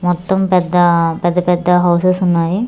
మొత్తం పెద్ద పెద్ద పెద్ద హౌసెస్ ఉన్నాయి.